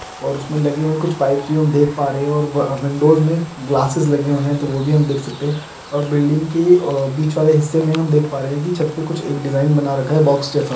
--और उसमें लगे हुए कुछ पाइपस भी हम देख पा रहे हैं और विंडोज़ में ग्लासेस लगे हुए तो वो भी हम देख सकते हैं और बिल्डिंग के बीच वाले हिस्से में हम देख पा रहे हैं कि छत पर एक कुछ डिज़ाइन बना रखा है बॉक्स जैसा--